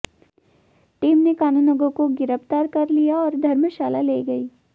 team ने कानूनगो को गिरफ्तार कर लिया और धर्मशाला ले गई